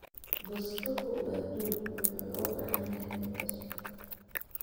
Bustuhu waa duug wuxuuna u baahan yahay mid cusub.